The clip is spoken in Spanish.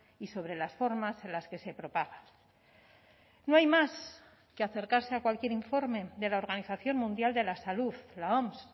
y sobre las formas en las que se propaga no hay más que acercarse a cualquier informe de la organización mundial de la salud la oms